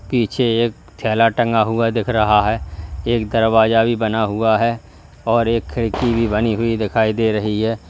पीछे एक झोला टंगा हुआ दिख रहा है एक दरवाजा भी बना हुआ है और एक खिड़की भी बनी हुई दिखाई दे रही है।